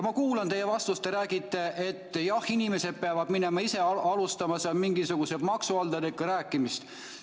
Ma kuulan teie vastust, te räägite, et jah, inimesed peavad minema, ise alustama mingisuguse maksuhalduriga rääkimist.